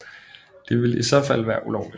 Det ville i så fald være ulovligt